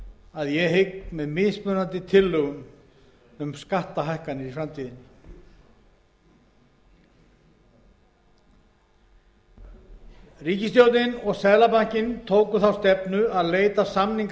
að ég hygg með mismunandi tillögum um skattahækkanir í framtíðinni ríkisstjórnin og seðlabankinn tóku þá stefnu að leita samninga